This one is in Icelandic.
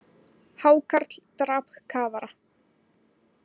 Hákarl drap kafara